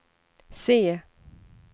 C